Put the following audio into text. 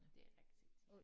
Det er rigtigt